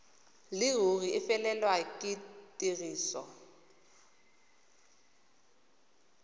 leruri e felelwe ke tiriso